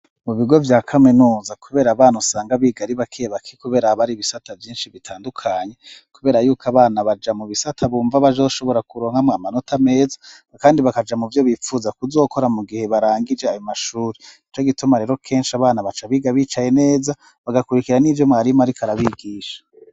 Mu bigo vya kaminuza, kubera abana usanga bigari bakebaki, kubera abari bisata vyinshi bitandukanye, kubera yuko abana baja mu bisata bumva bajoshobora kuronkamwo amanota meza, kandi bakaja mu vyo bipfuza kuzokora mu gihe barangije aba mashuri ico gituma rero kenshi abana baca bigabicaye neza bagakurikira n'ivyo mwarimu, ariko arabigisha.